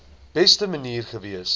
beste manier gewees